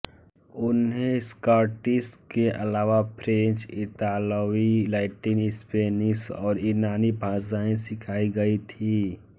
उन्हें स्कॉटिश के अलावा फ्रेंच इतालवी लैटिन स्पेनिश और यूनानी भाषाएँ सिखायी गई थीं